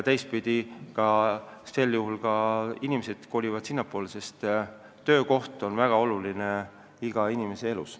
Ja sel juhul ka inimesed kolivad sinna, sest töökoht on väga oluline igaühe jaoks.